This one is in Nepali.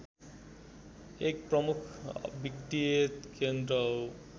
एक प्रमुख वित्तीय केन्द्र हो